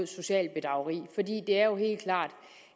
socialt bedrageri det er jo helt klart